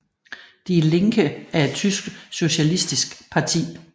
Die Linke er et tysk socialistisk parti